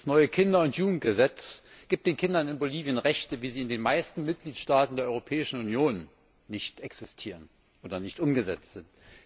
Das neue Kinder und Jugendgesetz gibt den Kindern in Bolivien Rechte, wie sie in den meisten Mitgliedstaaten der Europäischen Union nicht existieren oder nicht umgesetzt sind.